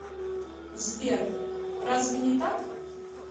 сбер разве не так